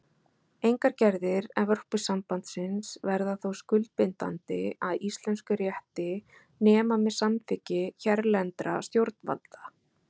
Engar gerðir Evrópusambandsins verða þó skuldbindandi að íslenskum rétti nema með samþykki hérlendra stjórnvalda.